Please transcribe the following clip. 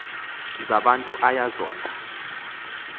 zabantu aya zona